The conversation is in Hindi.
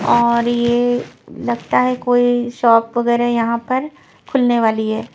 और यह लगता है कोई शॉप वगैरह यहां पर खुलने वाली है.